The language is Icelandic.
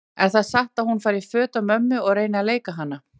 Er það satt að hún fari í föt af mömmu og reyni að leika hana?